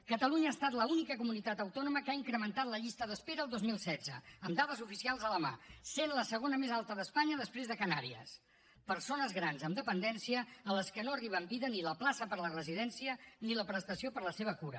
catalunya ha estat l’única comunitat autònoma que ha incrementat la llista d’espera el dos mil setze amb dades oficials a la mà i és la segona més alta d’espanya després de les canàries persones grans amb dependència a les que no arriba en vida ni la plaça per a la residència ni la prestació per a la seva cura